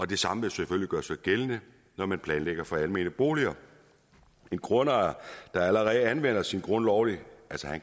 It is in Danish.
det samme vil selvfølgelig gøre sig gældende når man planlægger for almene boliger en grundejer der allerede anvender sin grund lovligt